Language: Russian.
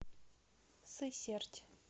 сысерть